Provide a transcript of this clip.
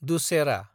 Dussehra